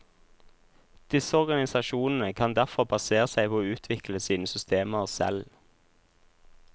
Disse organisasjonene kan derfor basere seg på å utvikle sine systemer selv.